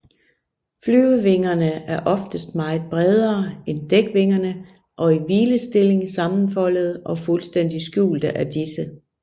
Flyvevingerne er oftest meget bredere end dækvingerne og i hvilestilling sammenfoldede og fuldstændig skjulte af disse